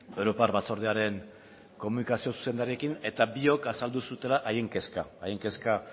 europar batzordearen komunikazio zuzendariarekin eta biok azaldu zutela haien kezka hain kezka